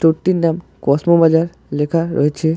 স্টোরটির নাম Cosmo bazaar লেখা রয়েছে।